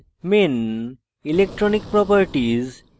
main electronic properties